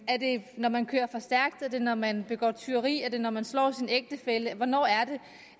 er det når man kører for stærkt er det når man begår tyveri er det når man slår sin ægtefælle hvornår er det